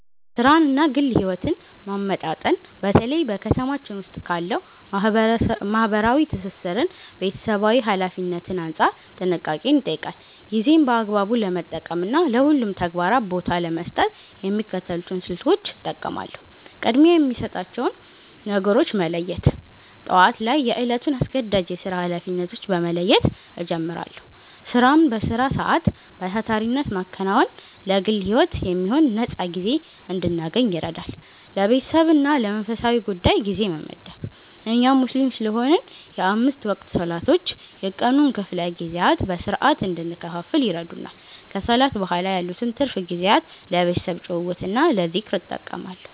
ሥራንና ግል ሕይወትን ማመጣጠን በተለይ በ ከተማችን ዉስጥ ካለው ማህበራዊ ትስስርና ቤተሰባዊ ኃላፊነት አንጻር ጥንቃቄን ይጠይቃል። ጊዜን በአግባቡ ለመጠቀምና ለሁሉም ተግባራት ቦታ ለመስጠት የሚከተሉትን ስልቶች እጠቀማለሁ፦ ቅድሚያ የሚሰጣቸውን ነገሮች መለየት፦ ጠዋት ላይ የዕለቱን አስገዳጅ የሥራ ኃላፊነቶች በመለየት እጀምራለሁ። ሥራን በሥራ ሰዓት በታታሪነት ማከናወን ለግል ሕይወት የሚሆን ነፃ ጊዜ እንድናገኝ ይረዳል። ለቤተሰብና ለመንፈሳዊ ጉዳይ ጊዜ መመደብ፦ እኛ ሙስሊም ስለሆንን የአምስት ወቅት ሰላቶች የቀኑን ክፍለ ጊዜያት በሥርዓት እንድንከፋፍል ይረዱናል። ከሰላት በኋላ ያሉትን ትርፍ ጊዜያት ለቤተሰብ ጭውውትና ለዝክር እጠቀማለሁ።